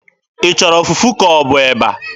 Ị chọrọ fufu ka ọ bụ eba?